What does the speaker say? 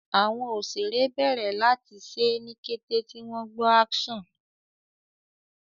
àwọn òṣeré bèrè láti ṣe ní kété tí wón gbó "action"